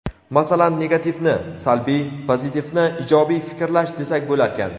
Masalan, "negativ"ni – salbiy, "pozitiv"ni – ijobiy fikrlash desak bo‘larkan.